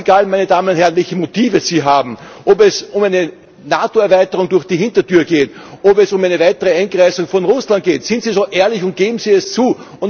Ganz egal, meine Damen und Herren, welche Motive Sie haben, ob es um eine NATO Erweiterung durch die Hintertür geht, ob es um eine weitere Einkreisung von Russland geht, seien Sie so ehrlich und geben Sie es zu!